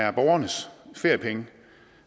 er borgernes feriepenge